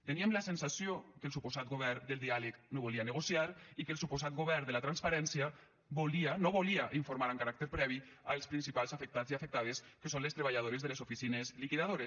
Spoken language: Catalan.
teníem la sensació que el suposat govern del diàleg no volia negociar i que el suposat govern de la transparència no volia informar amb caràcter previ els principals afectats i afectades que són les treballadores de les oficines liquidadores